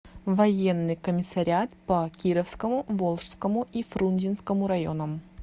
военный комиссариат по кировскому волжскому и фрунзенскому районам